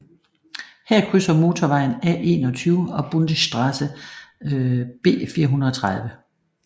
Her krydser motorvejen A21 og Bundesstraße B430